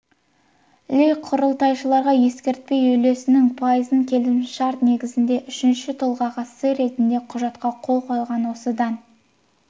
ли құрылтайшыларға ескертпей үлесінің пайызын келісімшарт негізінде үшінші тұлғаға сый ретінде құжатқа қол қойған осыдан